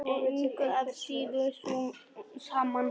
Engu að síður sú sama.